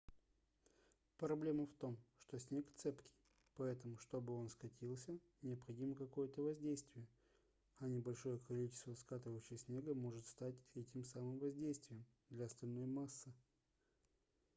проблема в том что снег цепкий поэтому чтобы он скатился необходимо какое-то воздействие а небольшое количество скатывающегося снега может стать этим самым воздействием для остальной массы